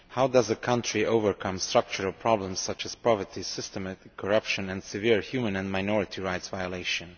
How does a country overcome structural problems such as poverty, systemic corruption and severe human and minority rights violations?